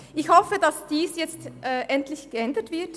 Ich hoffe, dass dies endlich geändert wird;